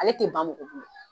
Ale tɛ ban